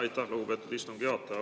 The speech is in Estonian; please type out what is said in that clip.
Aitäh, lugupeetud istungi juhataja!